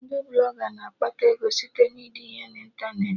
Ndị Blọga na-akpata ego site na ide ihe na ịntanetị